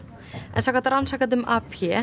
samkvæmt rannsakendum